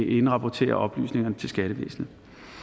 indrapportere oplysningerne til skattevæsnet